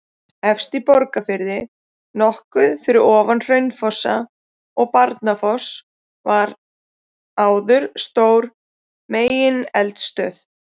Efst í Borgarfirði, nokkuð fyrir ofan Hraunfossa og Barnafoss var áður stór megineldstöð.